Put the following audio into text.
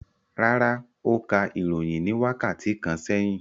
Rárá, ó ka ìròyìn ní wákàtí kan sẹ́yìn.